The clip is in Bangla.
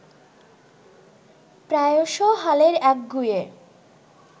প্রায়শ হালের একগুঁয়ে